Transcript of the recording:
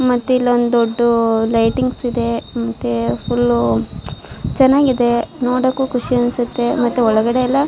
ಮತ್ತೆ ಇಲ್ಲೊಂದು ದೊಡ್ಡ ಲೈಟಿಂಗ್ಸ್ ಇದೆ ಮತ್ತೆ ಫುಲ್ ಚೆನ್ನಾಗಿದೆ ನೋಡಕ್ಕೂ ಖುಷಿ ಅನ್ಸುತ್ತೆ ಮತ್ತೆ ಒಳಗಡೆ ಎಲ್ಲ--